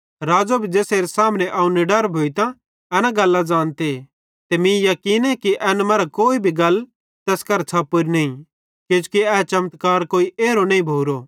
राज़ो भी ज़ेसेरे सामने अवं निडर भोइतां एन गल्लां ज़ानते ते मीं याकीने कि एन मरां कोई भी गल तैस करां छ़पोरी नईं किजोकि ए चमत्कार कोई एरो नईं भोरो